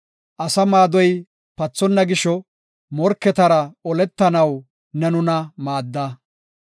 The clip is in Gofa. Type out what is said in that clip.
Asa maadoy pathonna gisho, morketara oletanaw ne nuna maadda.